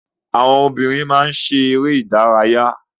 Àwọn obìnrin má ń ṣe eré ìdárayá.